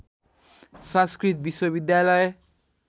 संस्कृत विश्वविद्यालय